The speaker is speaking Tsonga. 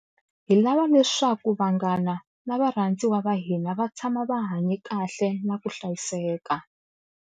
Hi lava leswaku vanghana na varhandziwa va hina va tshama va hanye kahle na ku hlayiseka.